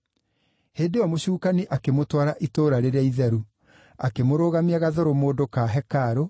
Hĩndĩ ĩyo mũcukani akĩmũtwara itũũra rĩrĩa itheru, akĩmũrũgamia gathũrũmũndũ ka hekarũ,